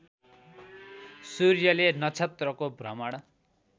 सूर्यले नक्षत्रको भ्रमण